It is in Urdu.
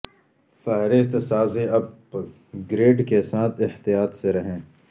فہرست سازی اپ گریڈ کے ساتھ احتیاط سے رہیں